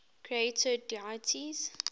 creator deities